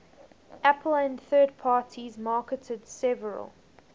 apple and third parties marketed several